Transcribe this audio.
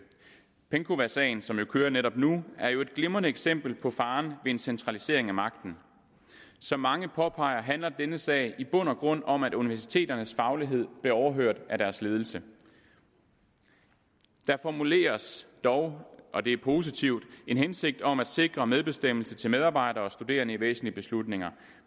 penkowasagen som jo kører netop nu er et glimrende eksempel på faren ved en centralisering af magten som mange påpeger handler denne sag i bund og grund om at universiteternes faglighed blev overhørt af deres ledelse der formuleres dog og det er positivt en hensigt om at sikre medbestemmelse til medarbejdere og studerende i væsentlige beslutninger